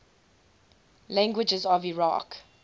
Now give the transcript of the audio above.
languages of iraq